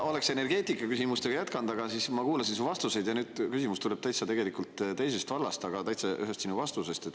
Ma oleksin energeetikaküsimustega jätkanud, aga siis ma kuulasin su vastuseid ja nüüd mu küsimus tuleb täitsa teisest vallast, ühe sinu vastuse kohta.